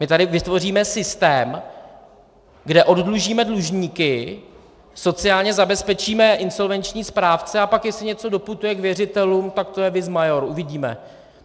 My tady vytvoříme systém, kde oddlužíme dlužníky, sociálně zabezpečíme insolvenční správce, a pak jestli něco doputuje k věřitelům, tak to je vis maior - uvidíme.